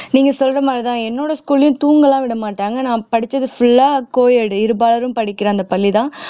நீங்க சொல்ற மாதிரிதான் என்னோட school லயும் தூங்க எல்லாம் விட மாட்டாங்க நான் படிச்சது full ஆ co edit இருபாலரும் படிக்கிற அந்த பள்ளிதான்